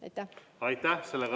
Aitäh!